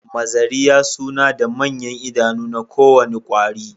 Mazariya suna da manyan idanu na kowane kwari